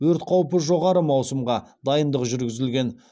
өрт қаупі жоғары маусымға дайындық жүргізілген